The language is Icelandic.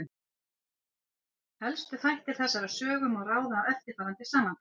Helstu þætti þessarar sögu má ráða af eftirfarandi samantekt.